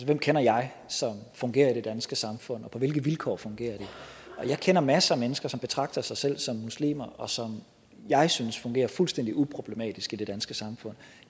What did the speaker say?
hvem kender jeg som fungerer i det danske samfund og på hvilke vilkår fungerer de og jeg kender masser af mennesker som betragter sig selv som muslimer og som jeg synes fungerer fuldstændig uproblematisk i det danske samfund